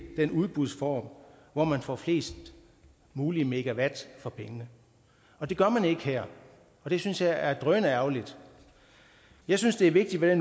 den udbudsform hvor man får flest mulige megawatt for pengene og det gør man ikke her og det synes jeg er drønærgerligt jeg synes det er vigtigt at